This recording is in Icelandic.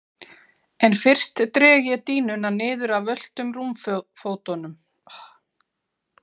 En fyrst dreg ég dýnuna niður af völtum rúmfótunum.